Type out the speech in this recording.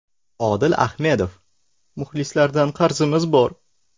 Odil Ahmedov: Muxlislardan qarzimiz bor.